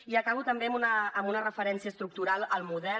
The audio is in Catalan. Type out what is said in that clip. i acabo també amb una referència estructural al model